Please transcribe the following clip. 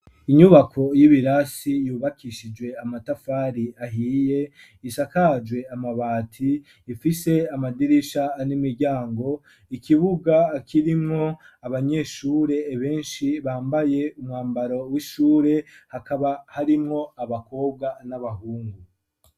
Inyubako y'ibirasi yubakishijwe amatafari ahiye isakajwe amabati ifise amadirisha n'imiryango ikibuga akirimwo abanyeshure benshi bambaye umwambaro w'ishure hakaba harimwo abakobwa n'abahungu.